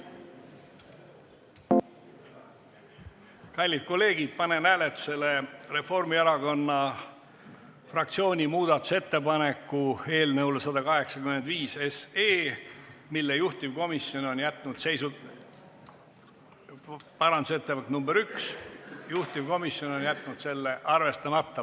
Kallid kolleegid, panen hääletusele Reformierakonna fraktsiooni muudatusettepaneku eelnõu 185 kohta, parandusettepaneku nr 1, juhtivkomisjon on jätnud selle arvestamata.